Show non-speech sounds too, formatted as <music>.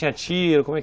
Tinha <unintelligible>